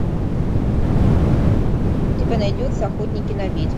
у тебя найдется охотники на ведьм